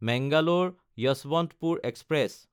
মেংগালোৰ–যশৱন্তপুৰ express